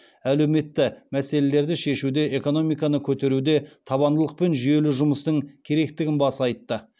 әлеуметті мәселелерді шешуде экономиканы көтеруде табандылық пен жүйелі жұмыстың керектігін баса айтты